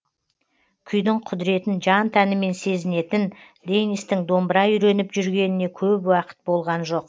күйдің құдіретін жан тәнімен сезінетін дэнистің домбыра үйреніп жүргеніне көп уақыт болған жоқ